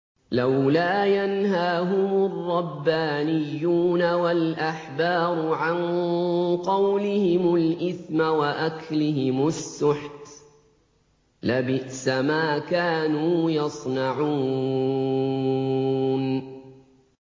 لَوْلَا يَنْهَاهُمُ الرَّبَّانِيُّونَ وَالْأَحْبَارُ عَن قَوْلِهِمُ الْإِثْمَ وَأَكْلِهِمُ السُّحْتَ ۚ لَبِئْسَ مَا كَانُوا يَصْنَعُونَ